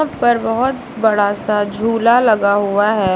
ऊपर बहोत बड़ा सा झूला लगा हुआ है।